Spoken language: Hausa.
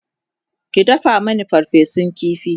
ki dafa Mani farfesun ƙifi!